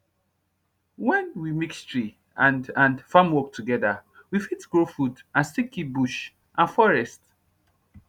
when we mix tree and and farm work together we fit grow food and still keep bush and forest